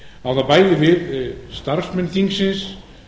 á það bæði við starfsmenn þingsins